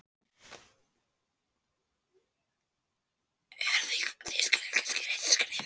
Er Þýskaland kannski rétta skrefið?